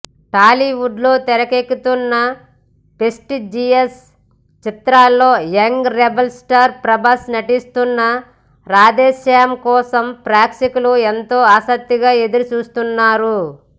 టాలీవుడ్లో తెరకెక్కుతున్న ప్రెస్టీజియస్ చిత్రాల్లో యంగ్ రెబల్ స్టార్ ప్రభాస్ నటిస్తున్న రాధేశ్యామ్ కోసం ప్రేక్షకులు ఎంతో ఆసక్తిగా ఎదురుచూస్తున్నారు